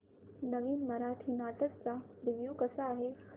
नवीन मराठी नाटक चा रिव्यू कसा आहे